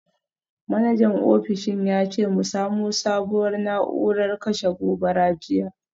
Manajan ofishin ya ce mu samo sabuwar na’urar kashe gobara jiya.